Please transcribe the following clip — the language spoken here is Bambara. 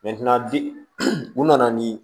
bi u nana ni